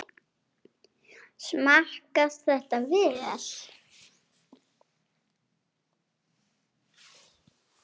Smakkast þetta vel?